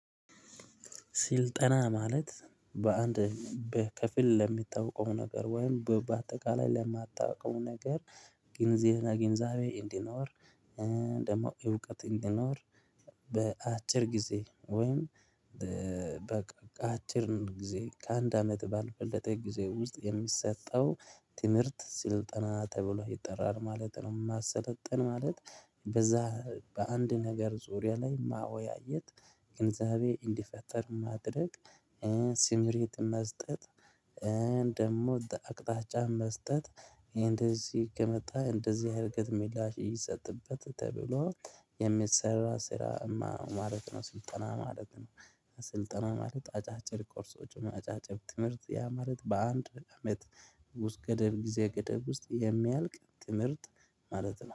ስልጠና ማለት በአንድ በከፊል ለሚታወቀው ነገር ወይም በአጠቃላይ ለማታውቀው ነገር ግንዚና ግንዛቤ እንዲኖር ደግሞ እውቀት እንዲኖር። በአጭር ጊዜ ወይም በቃ አጭርን ጊዜ ከአንድ አመት ባልበለጠ ጊዜ ውስጥ የሚሰጠው ትምህርት ስልጠና ተብሎ ይጠራል ማለት ነው። ማሰለጥን ማለት በዛ በአንድ ነገር ዙሪያ ላይ ማወያየት ግንዛቤ እንዲፈጠር ማድረግ። ሲምሬት መስጠት ደግሞ አቅጣጫ መስጠት። እንደዚህ ከመጣህ እንደዚህ አይነት ሚላሽ ይሰጥበት ተብሎ የሚሰራ ስራ ማለት ነው። ስልጠና ማለት ነው። ስልጠና ማለት አጫጭር ኮርሶች አጫጭር ትምህርት ያ ማለት በአንድ አመት ውስጥ ገደብ ጊዜ ገደብ ውስጥ የሚያልቅ ትምህርት ማለት ነው